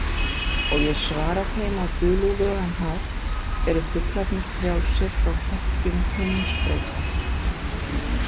Og ég svara þeim á dulúðugan hátt: Eru fuglarnir frjálsir frá hlekkjum himinsbrauta?